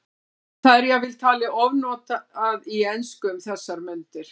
Það er jafnvel talið ofnotað í ensku um þessar mundir.